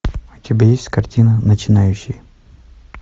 у тебя есть картина начинающий